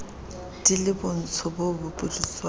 di le botsho bo bopudutswana